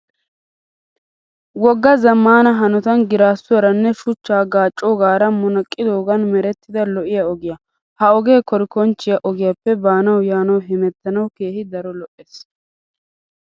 Woggaa zammaana hanotan giraassuwaaranne shuchchaa gaaccoogaara munaqqidoogan merettida lo'iyaa ogiyaa. Ha ogee korikonchchiyaa ogiyaappe baanawu yaanawu hemettanawu keehi daro lo'es.